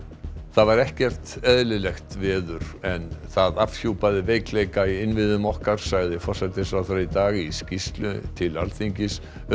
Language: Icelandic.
þetta var ekkert eðlilegt veður en það afhjúpaði veikleika í innviðum okkar sagði forsætisráðherra í dag í skýrslu til Alþingis um